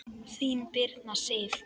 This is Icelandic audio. Þín, Birna Sif.